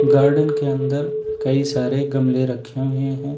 Garden के अंदर कई सारे गमले रखे हुए हैं।